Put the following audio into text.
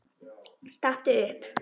Stattu upp!